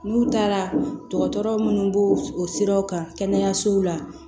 N'u taara dɔgɔtɔrɔ munnu b'o o siraw kan kɛnɛyasow la